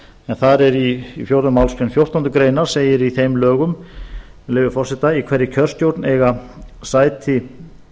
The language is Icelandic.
en þar er í fjórðu málsgrein fjórtándu greinar segir í þeim lögum með leyfi forseta í hverri kjörstjórn eiga sæti